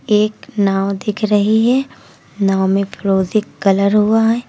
एक नांव दिख रही है नांव में फिरोजी कलर हुआ है।